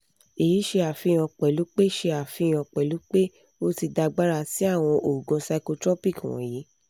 èyí sì ṣe àfihàn pẹ̀lú ṣe àfihàn pẹ̀lú pé o ti dàgbára sí àwọn oògùn psychotropic wọ̀nyí